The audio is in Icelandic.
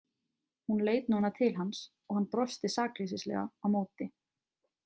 Hún leit núna til hans og hann brosti sakleysilega á móti.